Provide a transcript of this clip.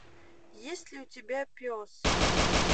есть ли у тебя пес